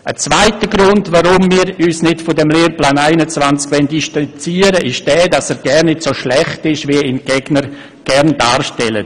Ein zweiter Grund, weshalb wir uns nicht vom Lehrplan 21 distanzieren wollen, ist der, dass er gar nicht so schlecht ist, wie ihn die Gegner gern darstellen.